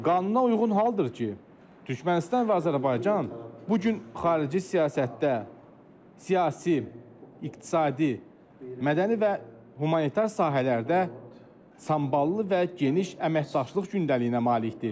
Qanuna uyğun haldır ki, Türkmənistan və Azərbaycan bu gün xarici siyasətdə siyasi, iqtisadi, mədəni və humanitar sahələrdə samballı və geniş əməkdaşlıq gündəliyinə malikdir.